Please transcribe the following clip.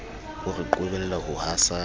o re qobella ho hasanya